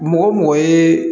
Mɔgɔ mɔgɔ ye